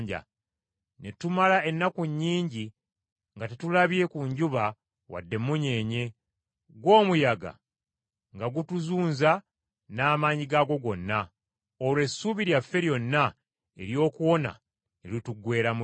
Ne tumala ennaku nnyingi nga tetulabye ku njuba wadde emunyeenye, gwo omuyaga nga gutuzunza n’amaanyi gaagwo gonna; olwo essuubi lyaffe lyonna ery’okuwona ne lituggweeramu ddala.